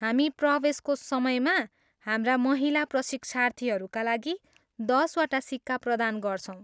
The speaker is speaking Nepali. हामी प्रवेशको समयमा हाम्रा महिला प्रशिक्षार्थीहरूका लागि दस वटा सिक्का प्रदान गर्छौँ।